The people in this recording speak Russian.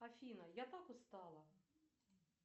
афина я так устала